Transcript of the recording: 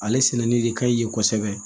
Ale sɛnɛnen de ka ɲi yen kosɛbɛ